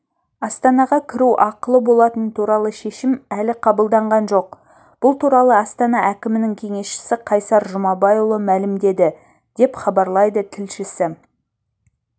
астанаға кіру ақылы болатыны туралы шешім әлі қабылданған жоқ бұл туралы астана әкімінің кеңесшісі қайсар жұмабайұлы мәлімдеді деп хабарлайды тілшісі